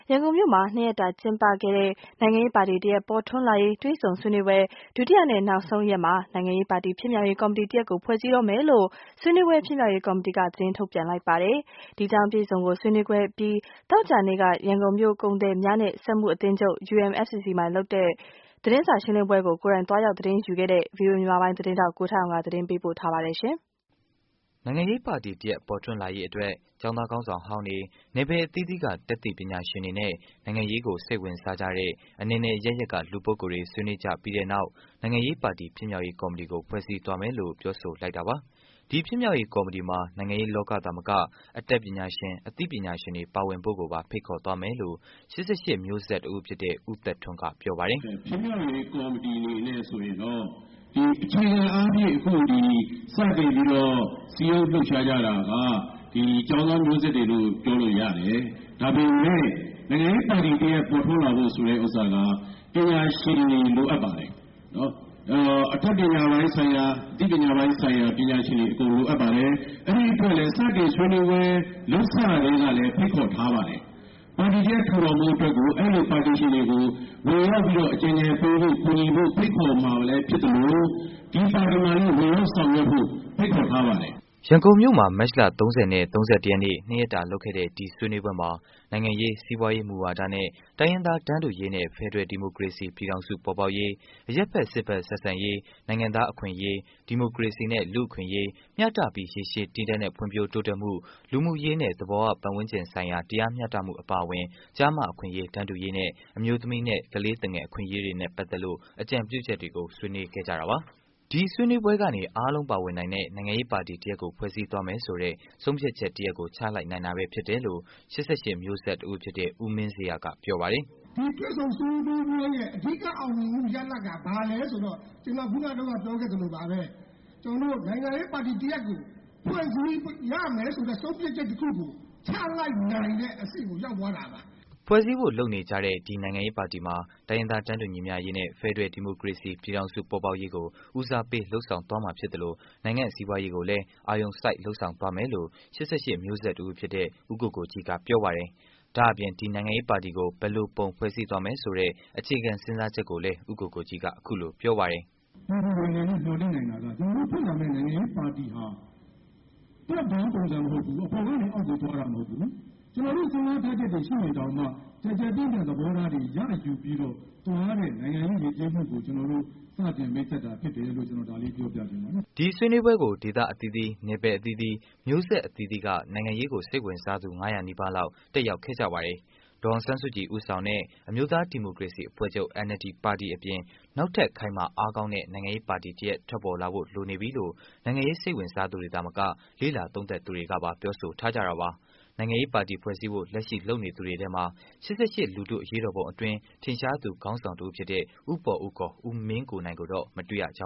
ရန်ကုန်မြို့မှာ ၂ ရက်တာ ကျင်းပခဲ့တဲ့ နိုင်ငံရေးပါတီ တစ်ရပ် ပေါ်ထွန်းလာရေး တွေ့ဆုံဆွေးနွေးပွဲ ဒုတိယနဲ့ နောက်ဆုံးရက်မှာ ဆွေးနွေးပွဲဖြစ်မြောက်ရေးကော်မတီက သတင်းထုတ် ပြန်ပါတယ်။ အပြည့်အစုံကိုတော့ ဆွေးနွေးပွဲအပြီး သောကြာနေ့က ရန်ကုန်မြို့ ကုန်သည်များနဲ့ စက်မှုအသင်းချုပ် UMFCCI မှာ လုပ်တဲ့ သတင်းစာရှင်းလင်းပွဲကို ကိုယ်တိုင် သွားရောက်ခဲ့တဲ့ ဗွီအိုအေမြန်မာပိုင်းသတင်းထောက် ကိုထက်အောင်က တင်ပြပေးမှာပါ။ နိုင်ငံရေးပါတီတစ်ရပ် ပေါ်ထွန်းလာရေးအတွက် ကျောင်းသား ခေါင်းဆောင်ဟောင်းတွေ၊ နယ်ပယ်အသီးသီးက တတ်သိပညာရှင် တွေနဲ့ နိုင်ငံရေးကို စိတ်ဝင်စားကြတဲ့ အနယ်နယ် အရပ်ရပ်က လူပုဂ္ဂိုလ်တွေ ဆွေးနွေးကြပြီးတဲ့နောက် နိုင်ငံရေးပါတီ ဖြစ်မြောက် ရေး ကော်မတီကို ဖွဲ့စည်းသွားမယ်လို့ ပြောလိုက်တာပါ။ ဒီဖြစ်မြောက်ရေးကော်မတီမှာ နိုင်ငံရေးလောကကသာမက အတတ် ပညာရှင် အသိပညာရှင်တွေ ပါဝင်ဖို့ကိုပါ ဖိတ်ခေါ်သွားမယ်လို့ ၈၈ မျိုးဆက်တစ်ဦးဖြစ်တဲ့ ဦးသက်ထွန်းက ပြောပါတယ်။ "ဖြစ်မြောက်ရေးကော်မတီအနေနဲ့ဆိုရင်တော့ အခြေခံအားဖြင့် စတင်ပြီးတော့ စည်းရုံး လှုပ်ရှားကြတာက ကျောင်းသားမျိုးဆက်တွေလို့ပြောလို့ရတယ်။ ဒါပေမဲ့ နိုင်ငံရေးပါတီ တရပ်ပေါ်ထွန်းလာဖို့ ဆိုတဲ့ဥစ္စာကတော့ ပညာရှင်တွေ လိုအပ်ပါတယ်။ အတတ်ပညာပိုင်း ဆိုင်ရာ အသိပညာပိုင်းဆိုင်ရာ ပညာရှင်တွေ အကုန်လိုအပ်ပါတယ်။ အဲ့ဒီ့အတွက်လည်း စတင်ဆွေးနွေးပွဲ လုပ်စကတည်းကလည်း ဖိတ်ခေါ်ထားပါတယ်။ ပါတီတရပ် ထူထောင်ဖို့အတွက်ကို အဲ့လိုပညာရှင်တွေကို ဝင်ရောက်ပြီးတော့ အကြံဉာဏ်ပေးဖို့ ကူညီဖို့ ဖိတ်ခေါ်မှာလည်းဖြစ်သလို ဒီပါတီမှာလည်း ဝင်ရောက်ဆောင်ရွက်ဖို့ ဖိတ်ခေါ်ထားပါတယ်။" ရန်ကုန်မြို့မှာ မတ်လ ၃၀ နဲ့ ၃၁ ရက်နေ့ ၂ ရက်လုပ်ခဲ့တဲ့ ဒီဆွေးနွေးပွဲမှာ နိုင်ငံရေး စီးပွားရေး မူဝါဒနဲ့ တိုင်းရင်းသား တန်းတူရေးနဲ့ ဖယ်ဒရယ် ဒီမိုကရေစီပြည်ထောင်စုပေါ်ပေါက်ရေး၊ အရပ်ဖက် စစ်ဘက် ဆက်ဆံရေး နိုင်ငံသား အခွင့်အရေး ဒီမိုကရေစီနဲ့ လူ့အခွင့်အရေး မျှတပြီး ရေရှည် တည်တံ့တဲ့ ဖွံဖြိုးတိုးတက်မှု၊ လူမှုရေးနဲ့ သဘာ၀ ပတ်ဝန်းကျင်ဆိုင်ရာ တရားမျှတမှု အပါအဝင် ကျားမ အခွင့်အရေး တန်းတူရေးနဲ့ အမျိုးသမီးနဲ့ ကလေးသူငယ်အခွင့်အရေးတွေနဲ့ ပတ်သက်လို့ အကြံပြုချက်တွေကို ဆွေးနွေးခဲ့ကြတာပါ။ ဒီဆွေးနွေးပွဲကနေ အားလုံးပါဝင်နိုင်တဲ့ နိုင်ငံရေးပါတီတစ်ရပ်ကို ဖွဲ့စည်းသွားမယ်ဆိုတဲ့ ဆုံးဖြတ်ချက်တစ်ရပ်ကို ချလိုက်နိုင်တာပဲ ဖြစ်တယ်လို့ ၈၈ မျိုးဆက်တစ်ဦးဖြစ်တဲ့ ဦးမင်းဇေယျက ပြောပါတယ်။ " ဒီတွေ့ဆုံဆွေးနွေးပွဲရဲ့ အဓိက အောင်မြင်မှု ရလဒ်က ဘာလဲဆိုတော့ နိုင်ငံရေးပါတီ တရပ်ကို ဖွဲ့စည်းရမယ်ဆိုတဲ့ ဆုံးဖြတ်ချက်တခုကို ချလိုက်နိုင်တဲ့အဆင့်ကို ရောက်သွားတာပါ။" ဖွဲ့စည်းဖို့လုပ်နေကြတဲ့ ဒီနိုင်ငံရေးပါတီမှာ တိုင်းရင်းသား တန်းတူ ညီမျှရေးနဲ့ ဖယ်ဒရယ် ဒီမိုကရေစီပြည်ထောင်စု ပေါ်ပေါက်ရေး ကို ဦးစားပေးလုပ်ဆောင်သွားမှာဖြစ်သလို နိုင်ငံစီးပွားရေးကိုလည်း အာရုံစိုက် လုပ်ဆောင်သွားမယ်လို့ ၈၈ မျိုးဆက်တစ်ဦး ဖြစ်တဲ့ ဦးကိုကိုကြီးကပြောပါတယ်။ ဒါ့အပြင် ဒီနိုင်ငံရေးပါတီကို ဘယ်လိုပုံဖွဲ့စည်းသွားမယ်ဆိုတဲ့ အခြေခံစဉ်းစားချက်ကိုလဲ ဦးကိုကိုကြီးက အခုလိုပြောပါတယ်။ " ပြည်သူတွေအနေနဲ့ မျှော်လင့်နိုင်တာက အခုဖွဲ့လာမယ့် နိုင်ငံရေးပါတီဟာ အပေါ်ကနေ အောက်ကိုသွားတာမဟုတ်ဘူး။ ကျနော်တို့စဉ်းစားထားချက်တွေရှိရင်တောင်မှ ကျယ်ကျယ်ပြန့်ပြန့် သဘောထားတွေ ရယူပြီးတော့ သွားတဲ့ နိုင်ငံရေးယဉ်ကျေးမှုကို စတင်မိတ်ဆက်တာဖြစ်တယ်လို့ ကျျနော် ဒါလေးပြောပြချင်ပါတယ်။" ဒီဆွေးနွေးပွဲကို ဒေသအသီးသီး နယ်ပယ်အသီးသီး မျိုးဆက်အသီးသီးက နိုင်ငံရေးကို စိတ်ဝင်စားသူ ၅၀၀ နီးပါးလောက် တက်ရောက်ကြပါတယ်။ ဒေါ်အောင်ဆန်းစုကြည်ဦးဆောင်တဲ့ အမျိုးသားဒီမိုကရေစီအဖွဲ့ချုပ် NLD ပါတီ်အပြင် နောက်ထပ် ခိုင်မာ အားကောင်းတဲ့ နိုင်ငံ ရေးပါတီတရပ် ထပ်ပေါ်လာဖို့ လိုနေပြီလို့ နိုင်ငံရေးစိတ်ဝင်စားသူတွေသာမက လေ့လာသုံးသပ်သူတွေကပါ ပြောထားကြတာပါ။ နိုင်ငံရေးပါတီဖွဲ့စည်းဖို့ လက်ရှိလုပ်နေသူတွေထဲမှာ ၈၈ လူထုအရေးတော်ပုံအတွင်း ထင်ရှားသူ ခေါင်းဆောင်တဦးဖြစ်တဲ့ ဦးပေါ်ဦး ခေါ် ဦးမင်းကိုနိုင်ကိုတော့ မတွေ့ရကြ